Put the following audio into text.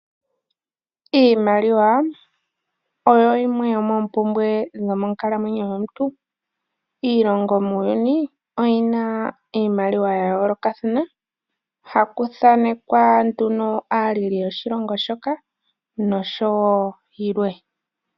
Iimaliwa oyo yimwe yomoopumbwe yomonkalamwenyo yomuntu. Iilongo muuyuni oyina iimaliwa ya yoolokathana, hakuthanekwa nduno aaleli yoshilongo shoka na yilwe